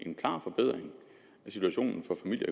situation